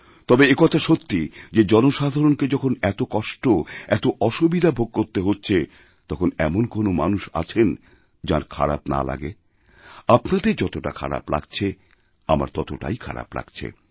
তবে একথা সত্যি যে জনসাধারণকে যখন এত কষ্ট এতঅসুবিধা ভোগ করতে হচ্ছে তখন এমন কোন মানুষ আছেন যাঁর খারাপ না লাগে আপনাদেরযতটা খারাপ লাগছে আমারও ততটাই খারাপ লাগছে